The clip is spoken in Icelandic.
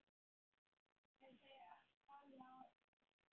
En þau ala á illsku.